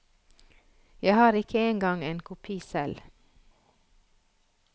Jeg har ikke engang en kopi selv.